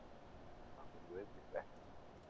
Það var nú einmitt ekki